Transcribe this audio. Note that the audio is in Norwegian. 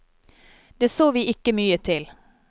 Det så vi ikke mye til.